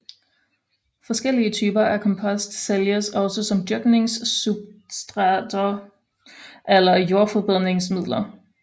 Forskellige typer af kompost sælges også som dyrkningssubstrater eller jordforbedringsmidler